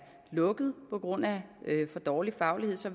lukket på grund af for dårlig faglighed så